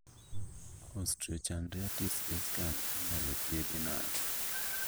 Osteochondritis dissecans inyalo thiedhi nade